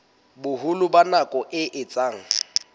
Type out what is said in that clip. boholo ba nako e etsang